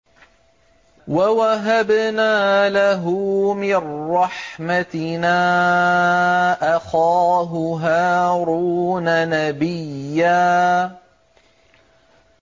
وَوَهَبْنَا لَهُ مِن رَّحْمَتِنَا أَخَاهُ هَارُونَ نَبِيًّا